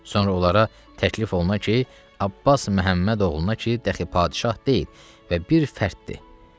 Sonra onlara təklif oluna ki, Abbas Məhəmməd oğluna ki, dəxi padşah deyil və bir fərddir.